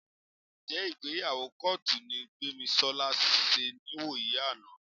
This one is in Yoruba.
Ǹjẹ́ ìgbéyàwó kọ́ọ̀tù ni Gbémisọ́lá ṣe níwòyí àná?